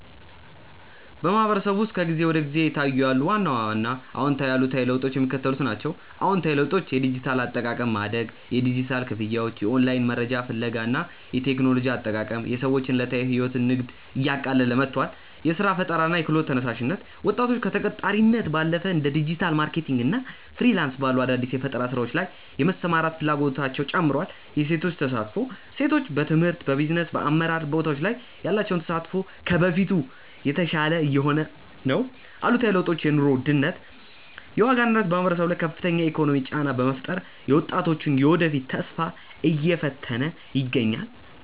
በማህበረሰቡ ውስጥ ከጊዜ ወደ ጊዜ እየታዩ ያሉ ዋና ዋና አዎንታዊና አሉታዊ ለውጦች የሚከተሉት ናቸው፦ አዎንታዊ ለውጦች የዲጂታል አጠቃቀም ማደግ፦ የዲጂታል ክፍያዎች፣ የኦንላይን መረጃ ፍለጋ እና የቴክኖሎጂ አጠቃቀም የሰዎችን ዕለታዊ ሕይወትና ንግድ እያቀለለ መጥቷል። የሥራ ፈጠራና የክህሎት ተነሳሽነት፦ ወጣቶች ከተቀጣሪነት ባለፈ እንደ ዲጂታል ማርኬቲንግ እና ፍሪላንስ ባሉ አዳዲስ የፈጠራ ሥራዎች ላይ የመሰማራት ፍላጎታቸው ጨምሯል። የሴቶች ተሳትፎ፦ ሴቶች በትምህርት፣ በቢዝነስና በአመራር ቦታዎች ላይ ያላቸው ተሳትፎ ከበፊቱ የተሻለ እየሆነ ነው። አሉታዊ ለውጦች የኑሮ ውድነት፦ የዋጋ ንረት በማህበረሰቡ ላይ ከፍተኛ የኢኮኖሚ ጫና በመፍጠሩ የወጣቶችን የወደፊት ተስፋ እየፈተነ ይገኛል።